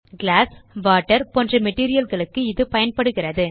class water போன்ற material களுக்கு இது பயன்படுகிறது